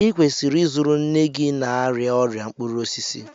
ị kwesịrị ịzụrụ nne gị na-arịa ọrịa mkpụrụ osisi